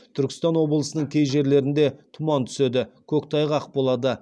түркістан облысының кей жерлерінде тұман түседі көктайғақ болады